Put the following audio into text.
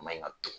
Maɲi ka